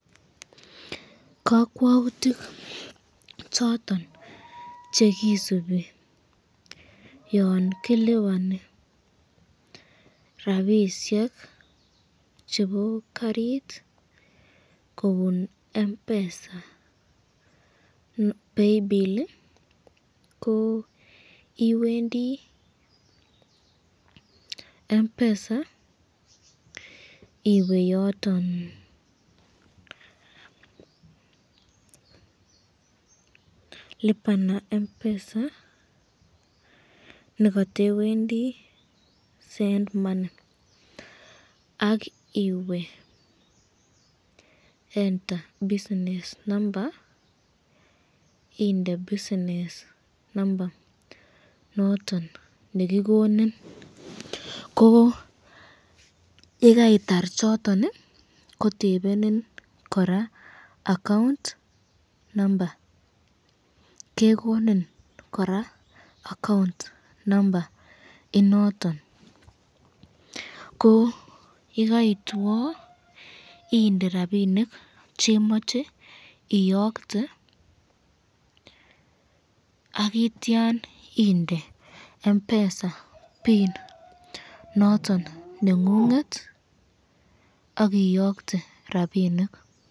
Kakwautik choton chekisubi yan kilipani rapishek chebo karit kobun Mpesa paybill, Mpesa iweyoton lipa na Mpesa neka